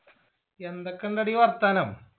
എന്തൊക്കെണ്ടെടി വർത്താനം